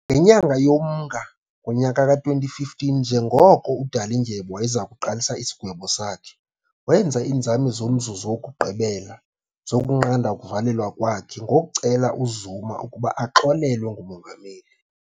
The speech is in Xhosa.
Ngenyanga yoMnga kngowe2015, njengoko uDalindyebo wayeza kuqalisa isigwebo sakhe, wenza iinzame zomzuzu wokugqibela zokunqanda ukuvalelwa kwakhe ngokucela uZuma ukuba axolelwe ngumongameli .